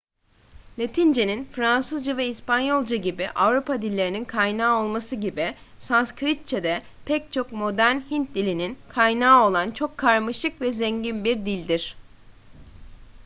latince'nin fransızca ve i̇spanyolca gibi avrupa dillerinin kaynağı olması gibi sanskritçe de pek çok modern hint dilinin kaynağı olan çok karmaşık ve zengin bir dildir